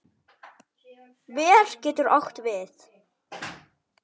Ver getur átt við